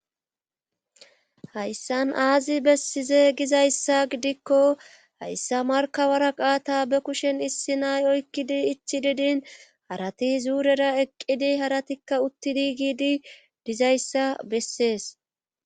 hayssan aazi bessize gizayssa gidikko hayssa markabara qaata be kushen issi nay oykkidi ichi didin harati zuurera eqqidi haratikka uttidi giidi dizayssa bessees